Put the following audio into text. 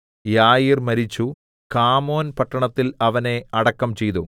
യായീർ മരിച്ചു കാമോന്‍ പട്ടണത്തില്‍ അവനെ അടക്കം ചെയ്തു